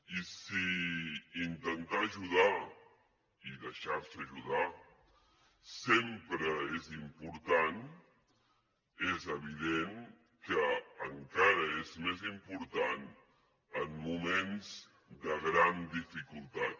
i si intentar ajudar i deixar se ajudar sempre és important és evident que encara és més important en moments de gran dificultat